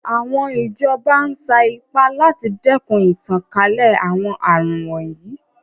Àwọn ìjọba ń sa ipá láti dẹ́kun ìtànkálẹ̀ àwọn àrùn wọ̀nyí.